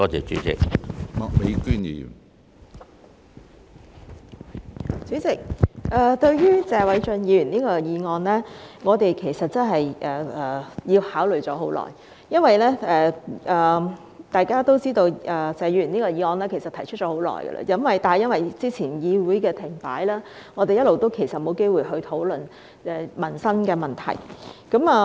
主席，對於謝偉俊議員這項議案，我們其實考慮良久，因為大家也知道謝議員這項議案其實提出已久，但由於早前議會停擺，我們一直也沒有機會討論民生問題。